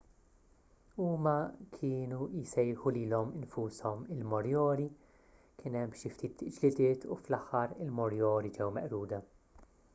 huma kienu jsejħu lilhom infushom il-moriori kien hemm xi ftit ġlidiet u fl-aħħar il-moriori ġew meqruda